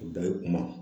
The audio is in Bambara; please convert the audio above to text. Bɛɛ ye kuma